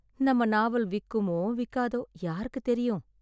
நம்ம நாவல் விக்குமோ விக்காதோ யாருக்குத் தெரியும்!